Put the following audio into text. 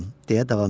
deyə davam etdi.